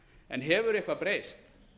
en hefur eitthvað breyst